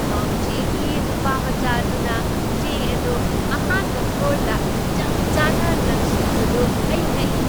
ꯄꯥꯎꯆꯦꯒꯤ ꯅꯨꯄꯥꯃꯆꯥ ꯑꯗꯨꯅ ꯆꯦ ꯑꯗꯨ ꯑꯍꯥꯟꯕ ꯐ꯭ꯂꯣꯔꯗ ꯆꯞꯆꯥꯅ ꯂꯪꯁꯤꯟꯕꯗꯨ ꯑꯩ ꯉꯛꯏ꯫